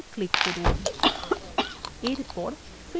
এরপর finish বোতামে click করুন